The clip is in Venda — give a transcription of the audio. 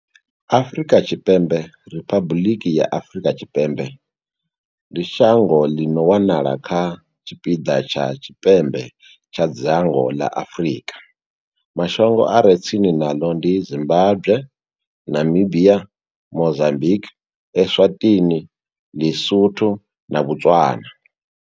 Afrika Tshipembe, Riphabuḽiki ya Afrika Tshipembe, ndi shango ḽi no wanala kha tshipiḓa tsha tshipembe tsha dzhango ḽa Afrika. Mashango a re tsini naḽo ndi Zimbagwe, Namibia, Mozambikwi, Eswatini, Ḽi-Sotho na Botswana.